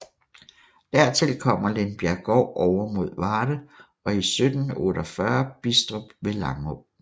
Dertil kommer Lindbjerggård ovre mod Varde og 1748 Bidstrup ved Langå